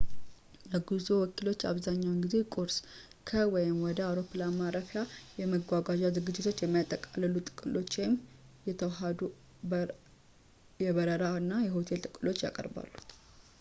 የጉዞ ወኪሎች አብዛኛውን ጊዜ ቁርስ፣ ከ/ወደ አውሮፕላን ማረፊያው የመጓጓዣ ዝግጅቶችን የሚያጠቃልሉ ጥቅሎችን ወይም የተዋሃዱ የበረራ እና ሆቴል ጥቅሎችን ያቀርባሉ